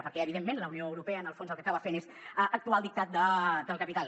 perquè evidentment la unió europea en el fons el que acaba fent és actuar al dictat del capital